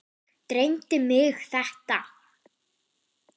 Dreymdi mig þetta?